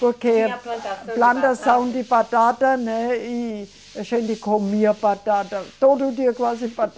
Porque plantação de batata, né, e a gente comia batata, todo dia quase